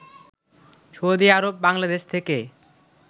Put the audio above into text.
Saudi Arab Bangladesh থেকে